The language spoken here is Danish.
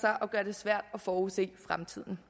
sig og gør det svært at forudse fremtiden